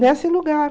Nesse lugar.